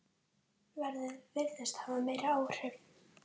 Veðrið virðist hafa meiri áhrif.